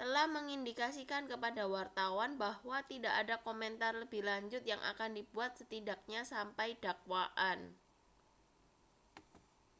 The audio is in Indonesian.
telah mengindikasikan kepada wartawan bahwa tidak ada komentar lebih lanjut yang akan dibuat setidaknya sampai dakwaan